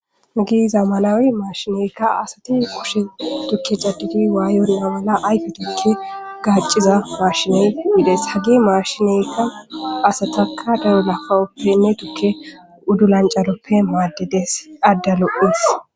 Ugiiza malawi maashineykka asati kushe tukke cadidi waayonna mala ayfe tikke gaacciza maashiney yides hagi maashineykka asataka dayo lafawoppenne tukke uddu lancaroppe maaddedes adda lo'is.